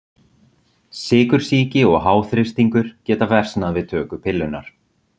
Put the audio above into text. Sykursýki og háþrýstingur geta versnað við töku pillunnar.